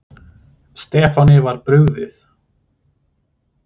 Stefáni var brugðið.